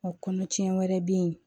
Wa kɔnɔtiɲɛ wɛrɛ bɛ yen